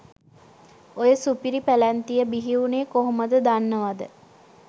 ඔය සුපිරි පැලැන්තිය බිහිවුනේ කොහොමද දන්නවද.